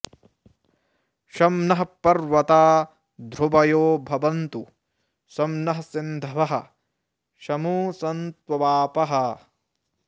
शं नः पर्वता ध्रुवयो भवन्तु शं नः सिन्धवः शमु सन्त्वापः